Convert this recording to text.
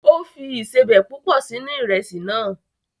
O fi ìsebẹ̀ púpọ̀ sínú Ìrẹ́sì náà